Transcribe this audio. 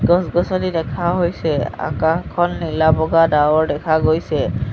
গছ-গছনি দেখা হৈছে আকাশখন নীলা ডাৱৰ দেখা গৈছে।